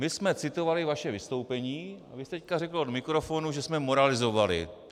My jsme citovali vaše vystoupení a vy jste teď řekl do mikrofonu, že jsme moralizovali.